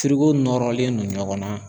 nɔrɔlen don ɲɔgɔn na